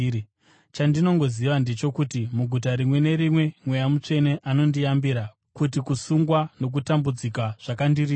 Chandinongoziva ndechokuti muguta rimwe nerimwe Mweya Mutsvene anondiyambira kuti kusungwa nokutambudzika zvakandirindira.